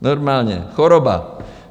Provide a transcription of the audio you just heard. Normálně choroba.